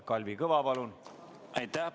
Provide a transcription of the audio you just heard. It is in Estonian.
Kalvi Kõva, palun!